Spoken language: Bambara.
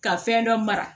Ka fɛn dɔ mara